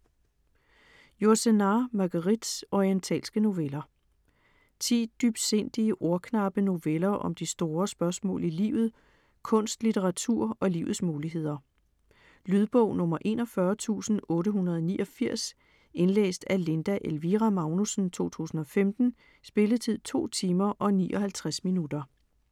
Yourcenar, Marguerite: Orientalske noveller Ti dybsindige, ordknappe noveller om de store spørgsmål i livet; kunst, litteratur og livets muligheder. Lydbog 41889 Indlæst af Linda Elvira Magnussen, 2015. Spilletid: 2 timer, 59 minutter.